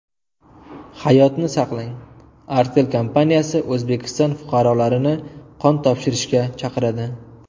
Hayotni saqlang: Artel kompaniyasi O‘zbekiston fuqarolarini qon topshirishga chaqiradi.